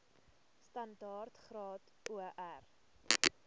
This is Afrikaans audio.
standaard graad or